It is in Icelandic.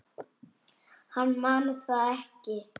Hann man það ekki.